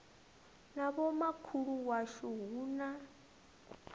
na vhomakhulu washu hu na